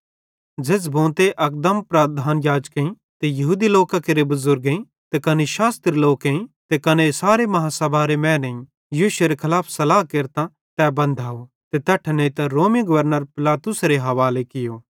झ़ेज़्झ़ भोंते अकदम प्रधान याजकेईं ते यहूदी लोकां केरे बुज़ुर्गेईं ते कने शास्त्री लोकेईं ते कने सारे अदालतेरे मैनेईं यीशुएरे खलाफ सलाह केरतां तै बन्धाव ते तैट्ठां नेइतां रोमी गवर्नर पिलातुसेरे हवाले कियो